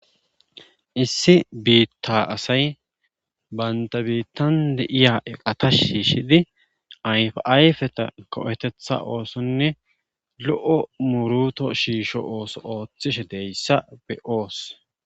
issi biitta asay baynta biittan de iya eqata shiishidi ayf7ayfeta ko7etetha oosonne lo7o muruto shiisho ooso ooththishe deyssa be7oos